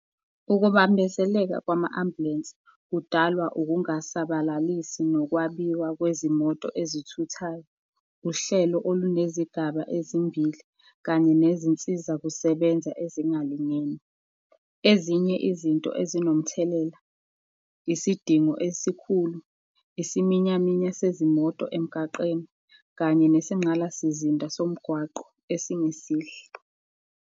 Ukubambezeleka kwama-ambulensi kudalwa ukungasabalalisi nokwabiwa kwezimoto ezithuthayo, uhlelo olunezigaba ezimbili, kanye nezinsiza kusebenza ezingalingene. Ezinye izinto ezinomthelela, isidingo esikhulu, isiminyaminya sezimoto emgaqeni, kanye nesinqalasizinda somgwaqo esingesihle.